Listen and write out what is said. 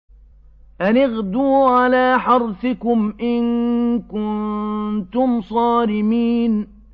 أَنِ اغْدُوا عَلَىٰ حَرْثِكُمْ إِن كُنتُمْ صَارِمِينَ